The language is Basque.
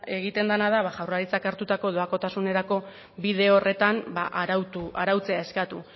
egiten dena da jaurlaritzak hartutako doakotasunerako bide horretan arautu arautzea eskatu